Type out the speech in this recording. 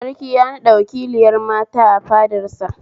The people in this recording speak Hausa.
Sarki ya naɓɗa wakiliyar mata a fadar sa